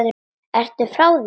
Ertu frá þér!